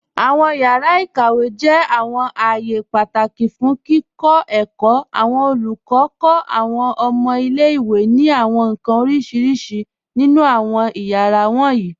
Awọn yàra ikàwé jẹ́ awọn ààyè pátákì fún kíkọ èkó. Awọn olùkọ kọ awọn ọ̀mọ̀ ilẹ̀-ìwé ni awọn nkan orísíríṣí nínu awọn ẹ̀yàra wọnyí.